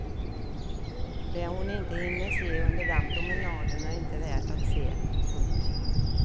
Det hon inte hinner se under den promenaden är inte värt att se. punkt